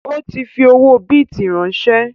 Ó ti fi owó bìtì ránsẹ́